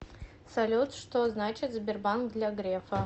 салют что значит сбербанк для грефа